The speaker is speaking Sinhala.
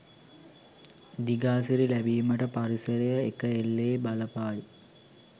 දිගාසිරි ලැබීමට පරිසරය එකඑල්ලේ බලපායි.